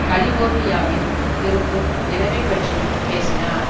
கலிபோர்னியாவில் இருக்கும் நிலைமை பற்றியும் பேசினார்